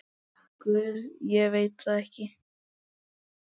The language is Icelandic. Guð, ég veit það ekki.